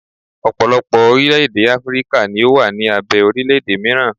ọpọlọpọ orilẹ ede Afirika ni o wa ni abe orilẹ ede miran